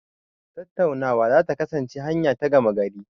Tattaunawa za ta kasance hanya ta gama gari.